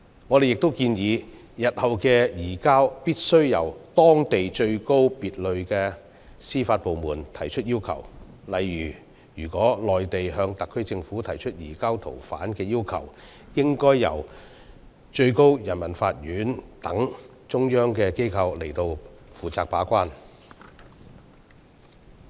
我們亦建議，日後的移交要求必須由當地最高級別的司法部門提出，例如：如內地向特區政府提出移交逃犯的要求，應由最高人民法院等中央機構負責把關。